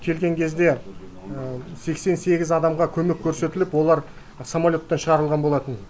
келген кезде сексен сегіз адамға көмек көрсетіліп олар самолеттен шығарылған болатын